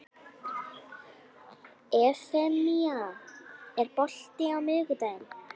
Evfemía, er bolti á miðvikudaginn?